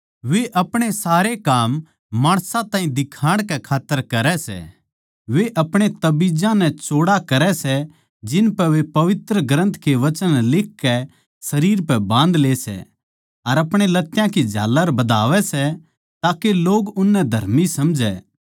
वे अपणे सारे काम माणसां ताहीं दिखाण कै खात्तर करै सै वे अपणे ताबिजां नै चौड़ा करै सै जिनपै वे पवित्र ग्रंथ के वचन लिखकै शरीर पै बाँधले सै अर अपणे लत्यां की झाल्लर बधावै सै ताके लोग उननै धर्मी समझै